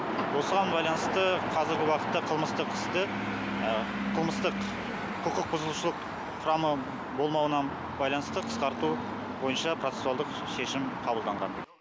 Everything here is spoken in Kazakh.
осыған байланысты қазіргі уақытта қылмыстық істі қылмыстық құқық бұзушылық құрамы болмауына байланысты қысқарту бойынша процесуалдық шешім қабылданған